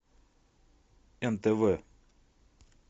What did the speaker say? нтв